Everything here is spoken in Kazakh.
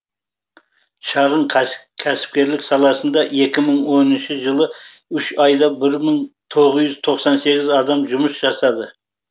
шағын кәсіпкерлік саласында екі мың оныншы жылы үш айда бір мың тоғыз жүз тоқсан сегіз адам жұмыс жасады